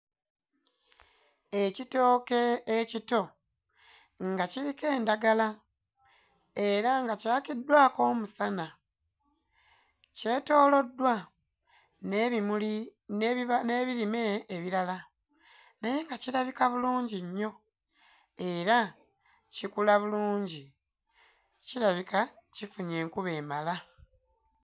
Ekitooke ekito nga kiriko endagala era nga kyakiddwako omusana. Kyetooloddwa n'ebimuli n'ebirime ebirala naye nga kirabika bulungi nnyo era kikula bulungi. Kirabika kifunye enkuba emala.